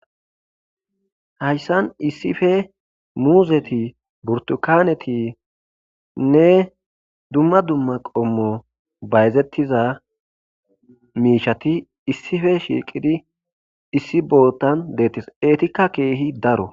hayssan issife muuzeti burtukanetinne dumma dumma qommo bayzettiza miishati issife shiiqidi issi bootan deettes eetikka keehi daro